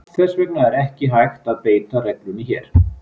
Þess vegna er ekki hægt að beita reglunni hér.